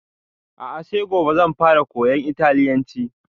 A'a sai gobe zan fara koyan italyanci